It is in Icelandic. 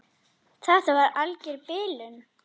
Þetta var alger bilun.